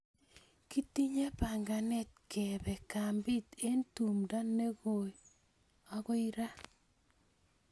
Kitinye panganet kepe kambit eng' tumndo ne koi ako kararan.